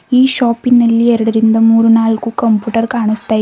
ಈ ಶಾಪಿ ನಲ್ಲಿ ಎರಡರಿಂದ ಮೂರು ನಾಲ್ಕು ಕಂಪ್ಯೂಟರ್ ಕಾನಸ್ತಾ ಇವೆ.